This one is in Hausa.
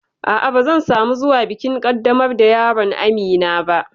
A'a, ba zan samu zuwa bikin ƙaddamar da yaron Amina ba